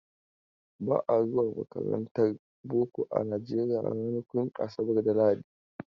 Ba a zuwa makarantar boko a Najeriya ranakun asabar da lahadi.